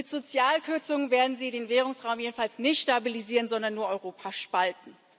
Mit Sozialkürzungen werden sie den Währungsraum jedenfalls nicht stabilisieren, sondern nur Europa spalten.